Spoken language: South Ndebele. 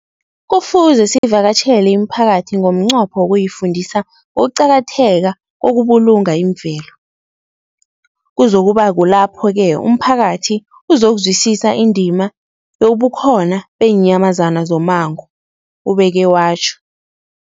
Kufuze sivakatjhele imiphakathi ngomnqopho wokuyifundisa ngokuqakatheka kokubulunga imvelo. Kuzoku ba kulapho-ke umphakathi uzokuzwisisa indima yobukhona beenyamazana zommango, ubeke watjho.